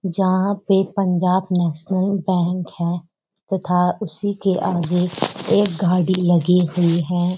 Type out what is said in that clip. जहाँ पे Punjab National Bank है तथा उसी के आगे एक गाड़ी लगी हुई है।